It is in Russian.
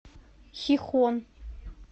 хихон